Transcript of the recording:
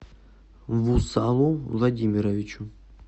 вусалу владимировичу